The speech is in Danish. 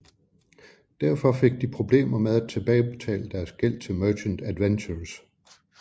Derfor fik de problemer med at tilbagebetale deres gæld til Merchant Adventurers